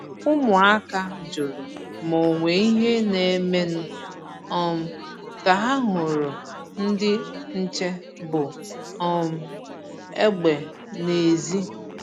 Ụmụ̀áka jụrụ ma onwe ìhè na-eme nụ um ka ha hụrụ ndị nche bu um egbe n’èzí.